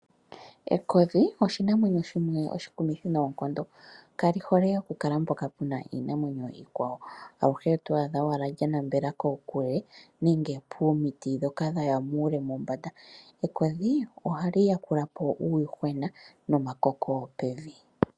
Ekodhi oshinamwenyo shimwe oshikumithi noonkondo, kali hole oku kala mpoka puna iinamwenyo iikwawo. Aluhe oto adha owala lya nambela kokule nenge pomiti ndhoka dhaya muule mombanda. ekodhi ohali yakula po uuyuhwena nomakoko pevi.